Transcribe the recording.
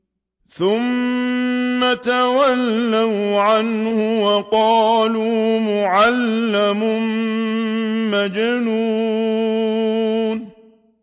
ثُمَّ تَوَلَّوْا عَنْهُ وَقَالُوا مُعَلَّمٌ مَّجْنُونٌ